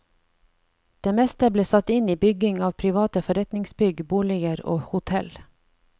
Det meste ble satt inn i bygging av private forretningsbygg, boliger og hotell.